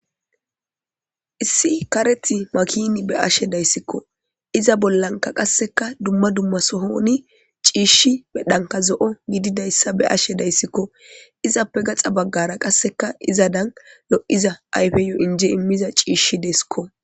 Issi Karethi makini eyashe dayisiko iza bollani qasikka duma duma sohoni cishi medhani zoo gididayasa bea'ashe dayisiko izape gaxa beggara izadan lotida imida cishi desikko.